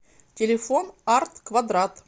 телефон арт квадрат